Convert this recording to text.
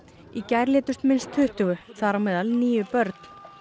í gær létust minnst tuttugu þar á meðal níu börn